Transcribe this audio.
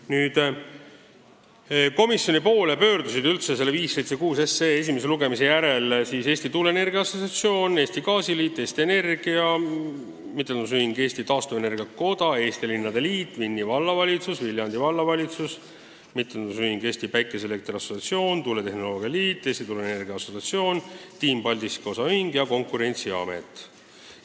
Nüüd, komisjoni poole pöördusid eelnõu 576 esimese lugemise järel Eesti Tuuleenergia Assotsiatsioon, Eesti Gaasiliit, Eesti Energia, MTÜ Eesti Taastuvenergia Koda, Eesti Linnade Liit, Vinni Vallavalitsus, Viljandi Vallavalitsus, MTÜ Eesti Päikeseelektri Assotsiatsioon, Tuuletehnoloogia Liit, Eesti Tuuleenergia Assotsiatsioon, Team Paldiski OÜ ja Konkurentsiamet.